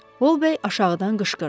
Volbey aşağıdan qışqırdı.